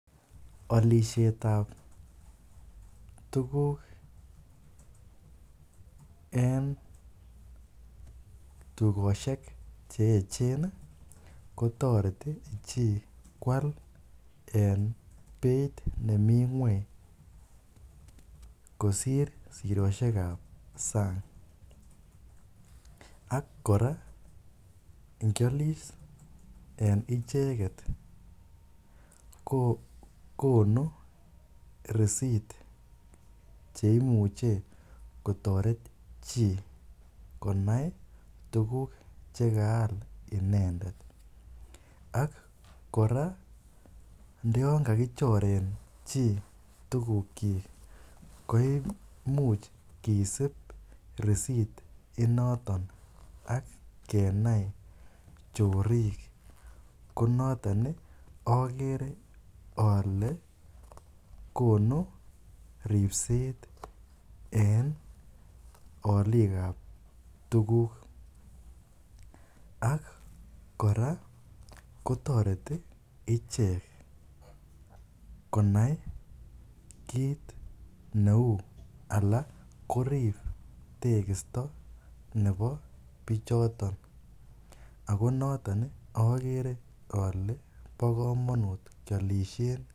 Olishetab tukuk en tukoshek che echen kotoreti chii kwaal en beit nemi ngweny kosir siroshekab sang, ak kora ingiolis en icheket ko konu risit cheimuche kotoret chii konai tukuk chekaal inendet ak kora ndo yoon kakichoren kii tukukyik ko imuch kisib risit initon kenai chorik ko noton okere olee konu ribset en oliikab tukuk ak kora kotoreti ichek konai kiit neuu alaa korib tekisto nebo bichoton ak ko noton okere olee bokomonut kiolishen.